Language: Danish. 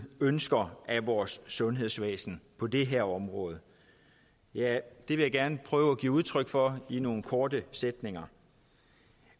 ønsker af vores sundhedsvæsen på det her område ja det vil jeg gerne prøve at give udtryk for i nogle korte sætninger